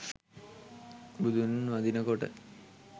බුදුන් වඳිනකොට